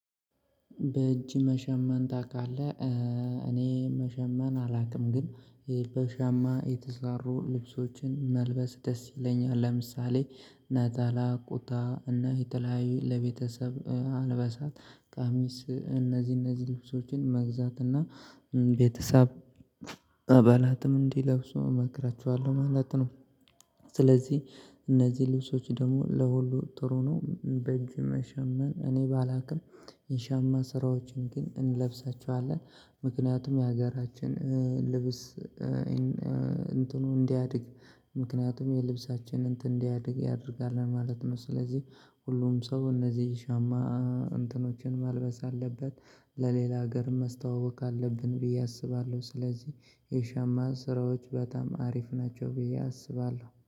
በእጅ መሸመን ታውቃለህ? እኔ መሸመን አላውቅም ግን በሸማ የተሰሩ ልብሶችን መልበስ ደስ ይለኛል። ለምሳሌ ነጠላ ኩታ እና የተለያዩ ለቤተሰብ አልበሳት ቃሚስ እነዚህ እነዚህ ልብሶችን መግዛት እና ቤተሰብ አባላትም እንዲለብሰው እመክራችኋለሁ ማለት ነው። ስለዚህ እነዚህ ልብሶች ደግሞ ለሁሉ ጥሩ ነው። በጅም መሸመን እኔ ባላቅም የሻማ ስራዎችን ግን እንለብሳቸዋለን ምክንያቱም የሀገራችን ልብስ። እንትኑ እንዲያድግ ምክንያቱም የልብሳችን እንትን እንዲያድግ ያደርጋል ማለት ነው። ስለዚህ ሁሉም ሰው እነዚህን ሻማ እንትኖችን ማልበስ አለበት ለሌላ ሀገር መስተዋወቅ አለብን ብዬ አስባለሁ። ስለዚህ የሸማን ስራዎች በጣም አሪፍ ናቸው ብዬ አስባለሁ።